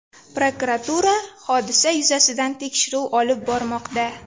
Prokuratura hodisa yuzasidan tekshiruv olib bormoqda.